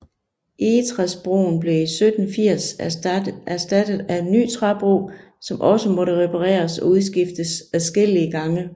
Egetræsbroen blev i 1780 erstattet af en ny træbro som også måtte repareres og udskiftes adskillige gange